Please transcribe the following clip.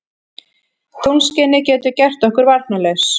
Tunglskinið getur gert okkur varnarlaus.